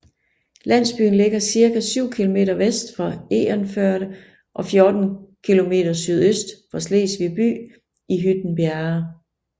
Landsbyen ligger cirka 7 kilometer vest for Egernførde og 14 kilometer sydøst for Slesvig by i Hytten Bjerge